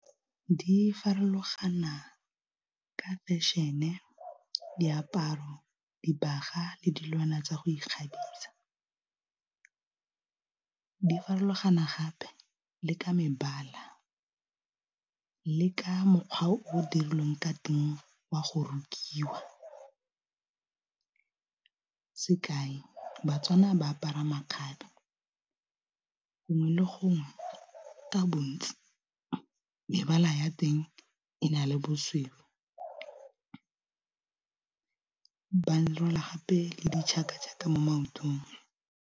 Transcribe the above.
Di farologana ka fashion-e diaparo, dibaga le dilwana tsa go ikgabisa, di farologana gape le ka mebala le ka mokgwa o dirilweng ka teng wa go rokiwa, sekai baTswana ba apara makgabe gongwe le gongwe ka bontsi mebala ya teng e na le bosweu ba rwala gape le ditšhaka-ditšhaka mo maotong.